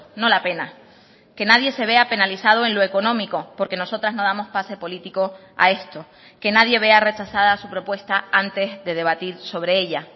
no la pena que nadie se vea penalizado en lo económico porque nosotras no damos pase político a esto que nadie vea rechazada su propuesta antes de debatir sobre ella